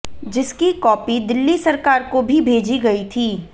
जिसकी कॉपी दिल्ली सरकार को भी भेजी गई थी